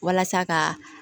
Walasa ka